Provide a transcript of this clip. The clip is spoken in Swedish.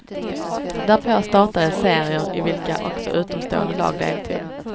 Därpå startades serier i vilka också utomstående lag deltog.